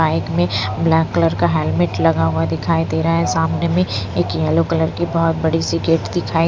bike में black colour का helmet लगा हुआ दिखाई दे रहा है सामने में एक येलो कलर की बहुत बड़ी सी गेट दिखाई --